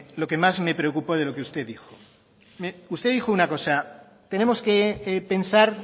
lo que más me preocupo de lo que usted dijo usted dijo una cosa tenemos que pensar